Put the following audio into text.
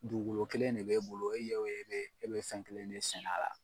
Dugukolo kelen ne be e bolo e ye o ye e be fɛn kelen ne sɛnɛ